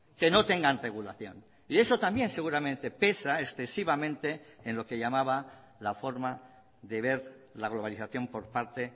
que no tengan regulación y eso también seguramente pesa excesivamente en lo que llamaba la forma de ver la globalización por parte